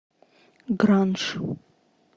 гранж